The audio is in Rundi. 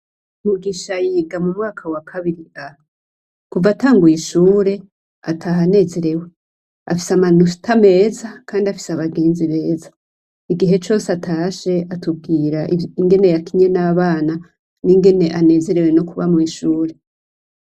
Mugisha yiga mu mwaka wa kabiri A kuva atanguye ishure ataha anezerewe afise amanota meza kandi afise abagenzi beza, igihe cose atashe atubwira ingene yakinye nabana n'ingene yanezerewe no kuba mwishure.